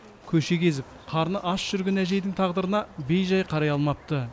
көше кезіп қарны аш жүрген әжейдің тағдырына бейжай қарай алмапты